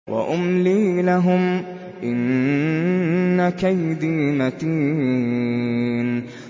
وَأُمْلِي لَهُمْ ۚ إِنَّ كَيْدِي مَتِينٌ